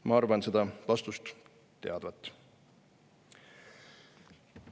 Ma arvan seda vastust teadvat.